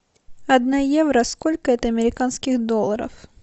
одна евро сколько это американских долларов